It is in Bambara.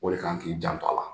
O de kan k'i janto a la